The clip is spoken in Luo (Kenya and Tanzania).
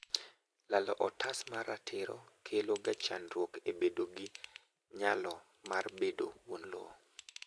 lalo otas mar ratiro kelo ga chandruok e bedo g nyalo mar bedo wuon lowo